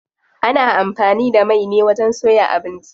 Ana amfani da mai ne wajen soya abinci.